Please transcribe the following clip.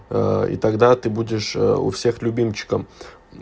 а и тогда ты будешь у всех любимчиком